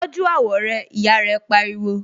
Tọ́jú àwọ̀ rẹ! Ìyá rẹ pariwo.